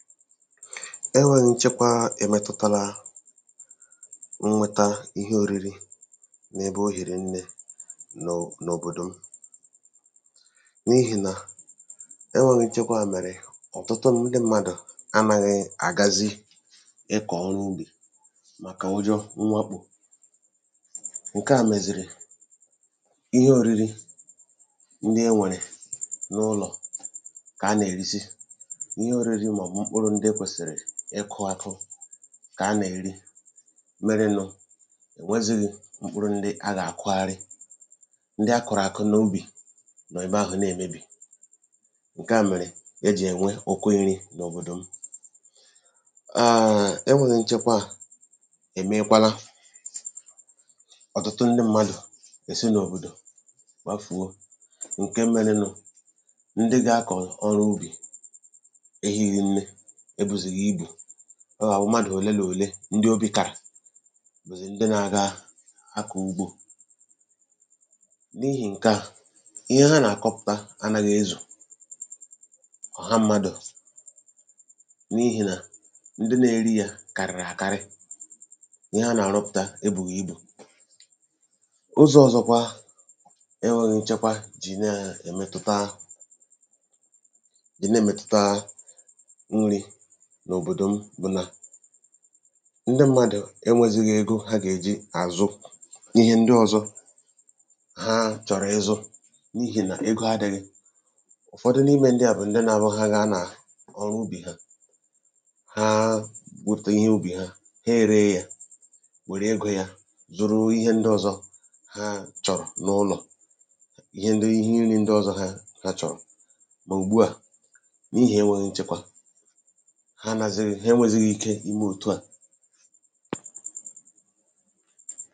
Enwēghī nchekwa èmetutala nnweta ihe ōriri n’ebe ohìrì nnē n’òbòdò m n’ihìnà enwēghī nchekwa mèrè ọ̀tụtụ ndị mmādụ̀ anāghị̄ àgazi ịkọ̀ ọrụ ubì màkà ụjọ mmakpò ǹke à mèzìrì ihe ōriri ndị e nwèrè n’ụlọ̀ kà a nèrizi ihe ōriri nà mkpụrụ ndị e kwèsìrì ịkụ̄ akụ kà a nèri merenụ̄ ò nwezīghī mkpụrụ a gà-àkụgharị, ndị akụ̀rụ̀ àkụ n’ubì nọ̀ ebahụ̀ ne-èmebì, ǹke à mèrè ejì ènwe ụ̀kọ nrī n’òbòdò m E nwēghī nchekwa èmeekwala ọ̀tụtụ ndị mmadụ̀ èsi n’òbòdò gbafùo ǹke merenū Ndị gākọ̀ ọrụ ubì ehīghī nne, ebùghìzì ibù Ọ̣̀̀ àwụ mmadụ̀ òle n’òle ndị obī kàrà bụ̀zị̀ ndị nāgā akọ̀ ugbò n’ihī ǹke a ihe ha nàkọpụ̀ta anāghị̄ ezù ọ̀ha mmadụ̀ n’ihì nà ndị nèri yā kàrị̀rị̀ àkarị ihe a nà-àrụpụ̀ta ebùghì ibù. Ụzọ̄ ọ̀zọkwa e nwēghī nchekwa jì ne-èmetuta jì na-èmetuta nrī n’òbòdò m bụ̀ nà ndị mmādụ̀ e nwēzighi ego ha gèji àzụ ihe ndị ọ̄zọ̄ haa chọ̀rọ̀ ịzụ̄ n’ihìnà ego adị̄ghị̄. Ụ̀fọdụ n’imē ndị à bụ̀ ndị nābụ ha gaa nàà ọrụ ubì ha, haa wepùta ihe ubì ha, he èree yā wère egō yā zụrụ ihe ndị ọ̄zọ̄ ha chọ̀rọ̀ n’ụlọ̀ ni ihe nilē ndị ọ̀zọ ha chọ̀rọ̀ mà ùgbu a n’ihì enwēghī nchekwa ha enwēghizi ike imē òtu a.